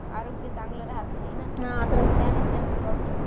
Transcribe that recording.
आरोग्य चांगले राहत नाही ना तर त्याने जास्त problem